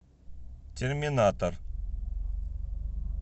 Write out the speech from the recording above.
терминатор